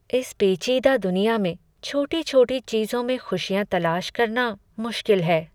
इस पेचीदा दुनिया में छोटी छोटी चीजों में ख़ुशियाँ तलाश करना मुश्किल है।